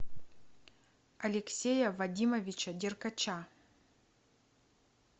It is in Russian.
алексея вадимовича деркача